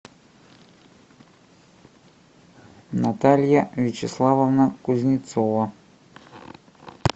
наталья вячеславовна кузнецова